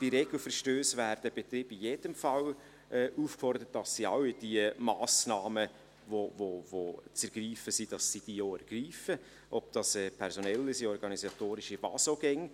Bei Regelverstössen werden Betriebe in jedem Fall aufgefordert, dass sie all die Massnahmen, die zu ergreifen sind, auch ergreifen, seien es personelle, organisatorische oder was auch immer.